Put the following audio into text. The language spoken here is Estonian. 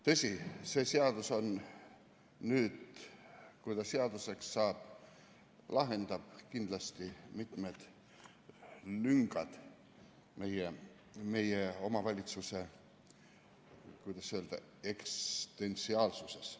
Tõsi, see seadus, kui ta seaduseks saab, lahendab kindlasti mitmed lüngad meie omavalitsuse, kuidas öelda, eksistentsiaalsuses.